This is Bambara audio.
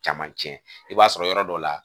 Camancɛ i b'a sɔrɔ yɔrɔ dɔ la